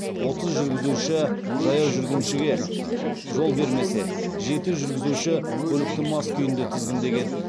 отыз жүргізуші жаяу жүргіншіге жол бермесе жеті жүргізуші көлікті мас күйінде тізгіндеген